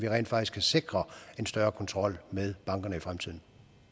rent faktisk kan sikre en større kontrol med bankerne i fremtiden